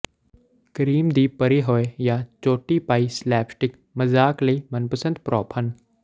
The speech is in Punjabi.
ਕਰੀਮ ਦੀ ਭਰੀ ਹੋਏ ਜਾਂ ਚੋਟੀ ਪਾਈ ਸਲੈਪਸਟਿਕ ਮਜ਼ਾਕ ਲਈ ਮਨਪਸੰਦ ਪ੍ਰੋਪ ਹਨ